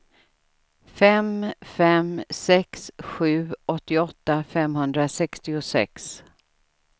fem fem sex sju åttioåtta femhundrasextiosex